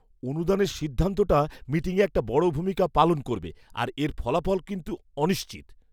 অনুদানের সিদ্ধান্তটা মিটিংয়ে একটা বড় ভূমিকা পালন করবে আর এর ফলাফল কিন্তু অনিশ্চিত।